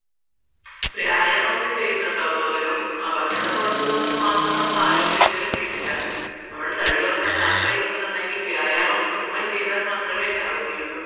വ്യായാമം ചെയ്യുന്നുണ്ടോ അപ്പോ വെറും ഭക്ഷണം കുറച്ചത് കൊണ്ട് മാത്രം ആരോഗ്യം നമുക്ക് ഒരിക്കലും കിട്ടില്ല നമ്മൾ തടി കുറയ്ക്കാൻ ആഗ്രഹിക്കുന്നുണ്ടെങ്കിൽ വ്യായാമം കൃത്യമായി ചെയ്താൽ മാത്രമേ ഇതാവുകയുള്ളൂ